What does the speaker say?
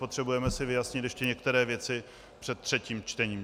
Potřebujeme si vyjasnit ještě některé věci před třetím čtením.